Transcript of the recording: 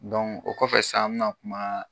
o kɔfɛ sisan an me na kuma,